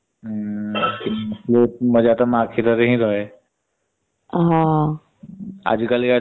ହମ୍ ମଜା ତ ମା କ୍ଷୀର ରେ ହିଁ ରହେ।